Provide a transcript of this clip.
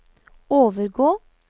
overgå